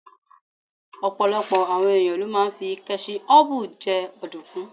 Ọ̀pọ̀lọpọ̀ àwọn ẹ̀yàn ló máa ń fí kẹ́ṣíhọpù jẹ ọ̀dùnkún.